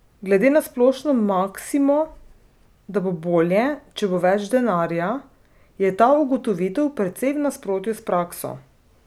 Glede na splošno maksimo, da bo bolje, če bo več denarja, je ta ugotovitev precej v nasprotju s prakso?